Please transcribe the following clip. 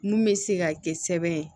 Mun bɛ se ka kɛ sɛbɛn